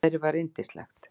Veðrið var yndislegt.